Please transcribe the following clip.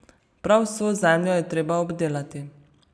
Prav vso zemljo je treba obdelati.